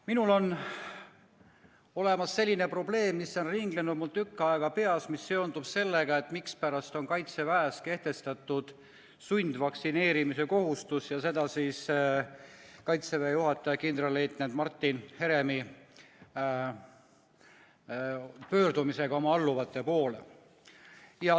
Minul on üks probleem, mis on mul tükk aega peas ringelnud ja seondub sellega, mispärast on Kaitseväes kehtestatud sundvaktsineerimise kohustus, ja seda Kaitseväe juhataja kindralleitnant Martin Heremi pöördumisega oma alluvate poole.